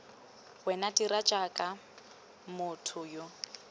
wena dira jaaka motho yo